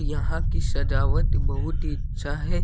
यहां की सजावट बहुत ही अच्छा है।